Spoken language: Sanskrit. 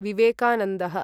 विवेकानन्दः